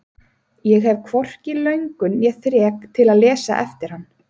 Ég hef hvorki löngun né þrek til að lesa eftir hann.